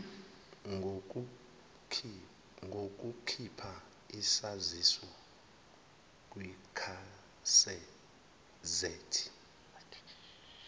ngokukhipha isaziso kwigazethi